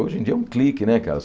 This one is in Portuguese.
Hoje em dia é um clique, né, cara?